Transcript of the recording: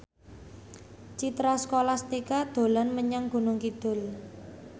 Citra Scholastika dolan menyang Gunung Kidul